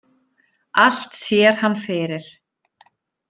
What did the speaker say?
Allt sér hann fyrir.